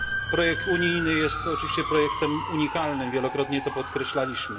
Projekt unijny jest oczywiście projektem unikalnym, wielokrotnie to podkreślaliśmy.